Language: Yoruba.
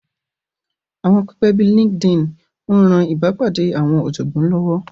Àwọn pẹpẹ bíi LinkedIn ń ran ìbápàdé àwọn ọ̀jọ̀gbọ́n lọ́wọ́